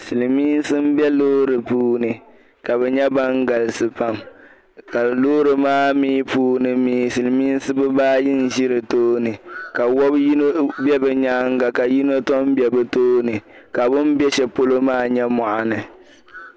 silimiinsi m-be loori puuni ka bɛ nyɛ ban galisi pam ka loori maa mi puuni mi silimiinsi bibaayi n-ʒi di tooni ka wab' yino be bɛ nyaaŋga ka yino tɔ m-be bɛ tooni ka bɛ be shɛli polo maa nyɛ mɔɣuni